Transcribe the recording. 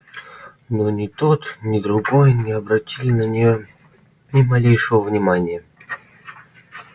но ни тот ни другой не обратили на неё ни малейшего внимания